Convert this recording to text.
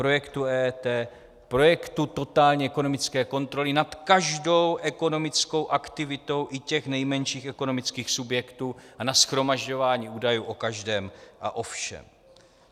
Projektu EET, projektu totální ekonomické kontroly nad každou ekonomickou aktivitou i těch nejmenších ekonomických subjektů a na shromažďování údajů o každém a o všem.